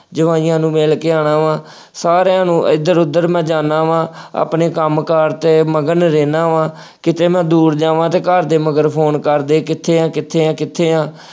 ਜਵਾਈਆਂ ਨੂੰ ਮਿਲਕੇ ਆਉਣਾ ਵਾ, ਸਾਰਿਆਂ ਨੂੰ ਇੱਧਰ ਉੱਧਰ ਮੈਂ ਜਾਂਦਾ ਵਾ, ਆਪਣੇ ਕੰਮ ਕਾਰ ਤੇ ਮਗਨ ਰਹਿੰਦਾ ਵਾ, ਕਿਤੇ ਮੈਂ ਦੂਰ ਜਾਵਾਂ ਤਾਂ ਘਰ ਦੇ ਮਗਰ ਫੋਨ ਕਰਦੇ ਕਿੱਥੇ ਹੈ, ਕਿੱਥੇ ਹੈ, ਕਿੱਥੇ ਹੈ, ।